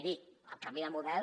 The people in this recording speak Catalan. miri el canvi de model